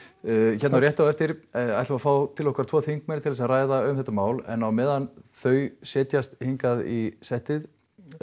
hérna rétt á eftir ætlum við að fá til okkar tvo þingmenn til þess að ræða um þetta mál en á meðan þau setjast hingað í settið